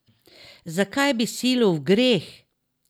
Zakaj bi silil v greh?